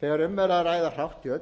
þegar um er að ræða hrátt kjöt þarf að